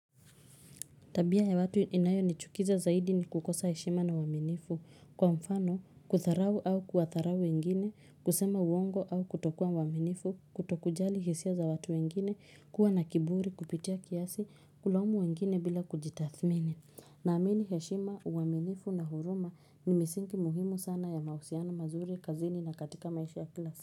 Tabia ya watu inayonichukiza zaidi ni kukosa heshima na uaminifu. Kwa mfano, kudharau au kuwadharau wengine, kusema uongo au kutokua mwaminifu, kutokujali hisia za watu wengine, kuwa na kiburi, kupitia kiasi, kulaumu wengine bila kujitathmini. Naamini heshima, uwaminifu na huruma ni misingi muhimu sana ya mahusiano mazuri, kazini na katika maisha ya kila si.